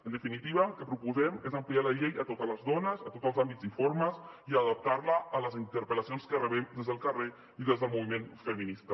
en definitiva el que proposem és ampliar la llei a totes les dones a tots els àmbits i formes i adaptar la a les interpel·lacions que rebem des del carrer i des del moviment feminista